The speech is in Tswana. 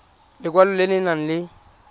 lekwalo le le nang le